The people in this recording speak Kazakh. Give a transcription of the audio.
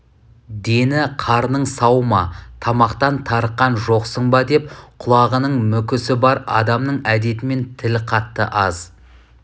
дені-қарның сау ма тамақтан тарыққан жоқсың ба деп құлағының мүкісі бар адамның әдетімен тіл қатты аз